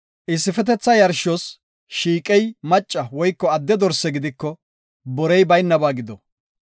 Issifetetha yarshos shiiqey macca woyko adde dorse gidiko borey baynaba gido.